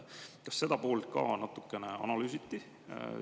Kas seda poolt ka natukene analüüsiti?